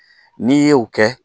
N'i ye o kɛ